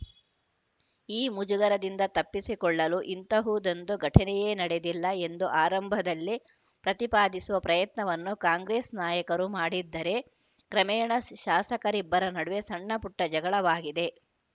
ಈ ಮುಜುಗರದಿಂದ ತಪ್ಪಿಸಿಕೊಳ್ಳಲು ಇಂತಹದೊಂದು ಘಟನೆಯೇ ನಡೆದಿಲ್ಲ ಎಂದು ಆರಂಭದಲ್ಲಿ ಪ್ರತಿಪಾದಿಸುವ ಪ್ರಯತ್ನವನ್ನು ಕಾಂಗ್ರೆಸ್‌ ನಾಯಕರು ಮಾಡಿದ್ದರೆ ಕ್ರಮೇಣ ಶ್ ಶಾಸಕರಿಬ್ಬರ ನಡುವೆ ಸಣ್ಣಪುಟ್ಟಜಗಳವಾಗಿದೆ